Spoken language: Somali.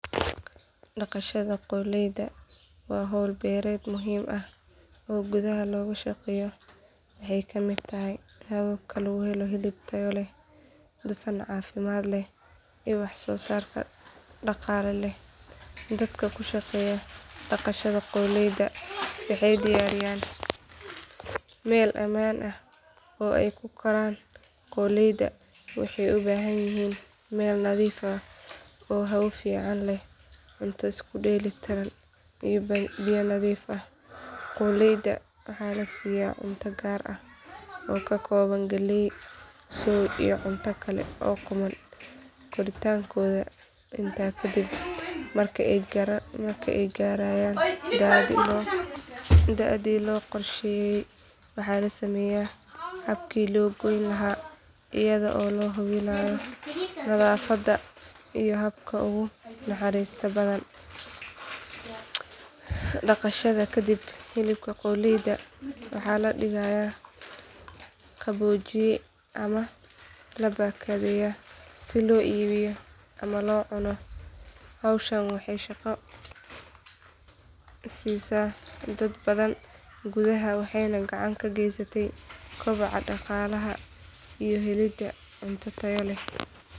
Daqashada qoolleyda waa hawl beereed muhiim ah oo gudaha looga shaqeeyo waxay ka mid tahay hababka lagu helo hilib tayo leh dufan caafimaad leh iyo wax soo saar dhaqaale leh dadka ku shaqeeya daqashada qoolleyda waxay diyaariyaan meel ammaan ah oo ay ku kori karaan qoolleyda waxay u baahan yihiin meel nadiif ah oo hawo fiican leh cunto isku dheelli tiran iyo biyo nadiif ah qoolleyda waxaa la siyaa cunto gaar ah oo ka kooban galley soy iyo cunto kale oo qumman koritaankooda intaa kadib marka ay gaarayaan da’dii loo qorsheeyay waxaa la sameeyaa habkii loo goyn lahaa iyada oo la hubinayo nadaafadda iyo habka ugu naxariista badan daqashada kadib hilibka qoolleyda waxaa la dhigaa qaboojiye ama la baakadeeyaa si loo iibiyo ama loo cuno hawshan waxay shaqo siisaa dad badan gudaha waxayna gacan ka geysataa kobaca dhaqaalaha iyo helidda cunto tayo leh.